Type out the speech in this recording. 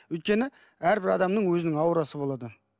өйткені әрбір адамның өзінің аурасы болады